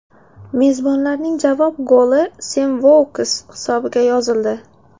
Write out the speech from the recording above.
Mezbonlarning javob goli Sem Vouks hisobiga yozildi.